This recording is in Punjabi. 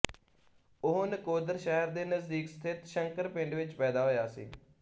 ਉਹ ਨਕੋਦਰ ਸ਼ਹਿਰ ਦੇ ਨਜ਼ਦੀਕ ਸਥਿਤ ਸ਼ੰਕਰ ਪਿੰਡ ਵਿੱਚ ਪੈਦਾ ਹੋਇਆ ਸੀ